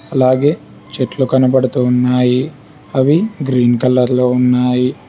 అలాగే చెట్లు కనబడుతూ ఉన్నాయి అవి గ్రీన్ కలర్ లో ఉన్నాయి.